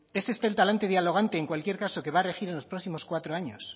es este el talante dialogante en cualquier caso que va regir en los próximos cuatros años